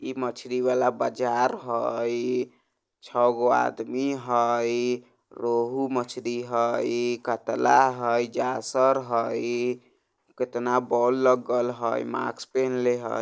इ मछली वला बाजार हई छ गो आदमी हई रोहू मछली हई कतला हई जासर हई कतना बोल लगल हई मास्क पिन्हले हई।